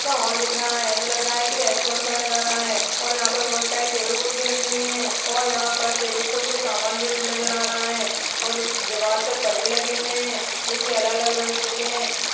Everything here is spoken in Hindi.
हॉल दिख रहा है ऐसा लग रहा है की रैसट्रौंट का नज़ारा है और यहाँ पर बोहोत सारी टेबल कुर्सी रखी हुई हैं और यहाँ पर टेबल पर कुछ सामान भी नज़र आ रहा है और दिवाल पर परदे लगे हुए हैं जो की अलग अलग रंगो के हैं।